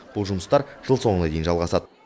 бұл жұмыстар жыл соңына дейін жалғасады